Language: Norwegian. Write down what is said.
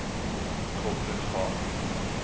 koble fra